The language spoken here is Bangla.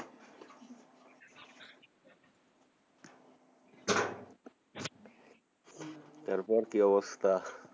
তারপর কি অবস্থা?